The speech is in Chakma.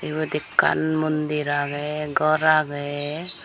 ibot ekkan mondir agey gor agey.